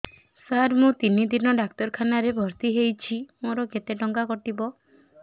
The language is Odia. ସାର ମୁ ତିନି ଦିନ ଡାକ୍ତରଖାନା ରେ ଭର୍ତି ହେଇଛି ମୋର କେତେ ଟଙ୍କା କଟିବ